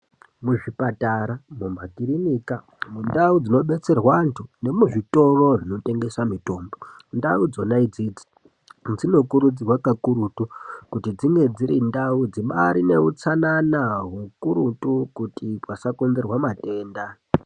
Mu zvipatara mu makirinika mu ndau dzino detserwa antu nemu zvitoro zvino tengesa mitombo ndau idzona idzidzi dzino kurudzirwa ka kurutu kuti dzinge dziri ndau dzibairi ne utsanana hukurutu kuti pasa konzerwa matenda.